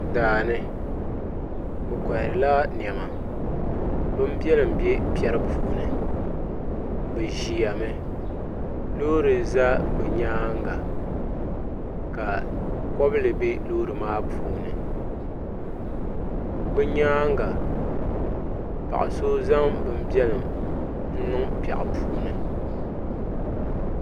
Daani bi koharila niɛma bin biɛlim bɛ piɛri puuni di ʒɛmi loori ʒɛ bi nyaanga ka kobili bɛ loori maa puuni bi nyaanga paɣa so zaŋ bin biɛlim n niŋ piɛɣu puuni